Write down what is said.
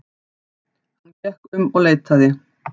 Hann gekk um og leitaði.